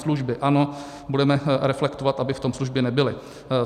Služby, ano, budeme reflektovat, aby v tom služby nebyly.